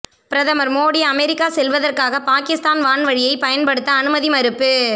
பிரதமர் மோடி அமெரிக்கா செல்வதற்காக பாகிஸ்தான் வான்வழியை பயன்படுத்த அனுமதி மறுப்பு